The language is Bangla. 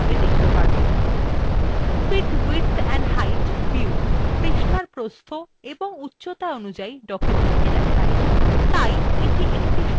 fit width and height view পৃষ্ঠার প্রস্থ of উচ্চতা অনুসারে document দেখায় তাই the একটি সময়ে একটি পৃষ্ঠা প্রদর্শন করে